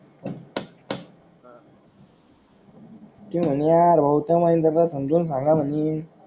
ते म्हणे यार भाऊ त्या महेंद्र ला समजून सांगा म्हणे